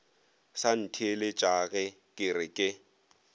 sa ntheeletšage ke re ke